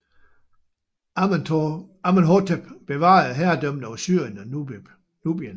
Amenhotep bevarede herredømmet over Syrien og Nubien